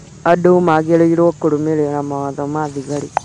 andũ magĩrĩirwo nĩ kũrũmĩrĩra mawatho ma thigari